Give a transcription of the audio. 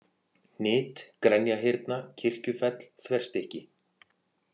Hnit, Grenjahyrna, Kirkjufell, Þverstykki